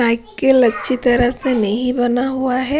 Cycle अच्छी तरह से नहीं बना हुआ है।